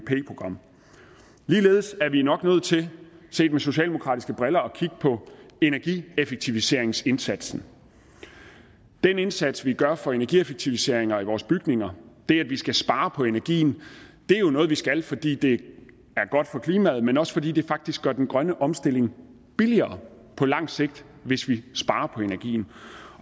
program ligeledes er vi nok nødt til set med socialdemokratiske briller at kigge på energieffektiviseringsindsatsen den indsats som vi gør for energieffektiviseringer i vores bygninger det at vi skal spare på energien er jo noget vi skal fordi det er godt for klimaet men også fordi det faktisk gør den grønne omstilling billigere på lang sigt hvis vi sparer på energien